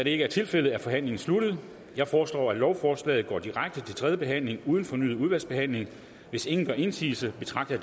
ikke er tilfældet er forhandlingen sluttet jeg foreslår at lovforslaget går direkte til tredje behandling uden fornyet udvalgsbehandling hvis ingen gør indsigelse betragter